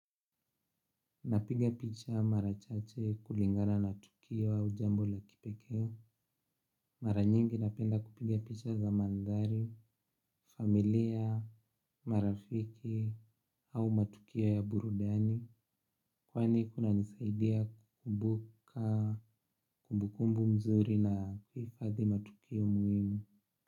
Napiga picha marachache kulingana na tukio au jambo la kipekee. Maranyingi napenda kupiga picha za mandhari, familia, marafiki au matukio ya burudani. Kwani kunanisaidia kukumbuka kumbukumbu mzuri na hadi matukio muhimu.